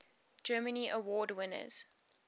grammy award winners